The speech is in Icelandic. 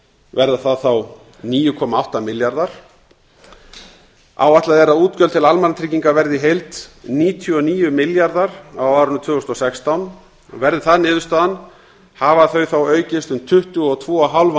verða það þá níu komma átta milljarðar áætlað er að útgjöld til almannatrygginga verði í heild níutíu og níu milljarðar á árinu tvö þúsund og sextán verði það niðurstaðan hafa þau þá aukist um tvö hundruð tuttugu og fimm